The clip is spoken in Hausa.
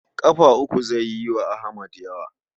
Ƙafa uku zai yi wa Ahmad yawa.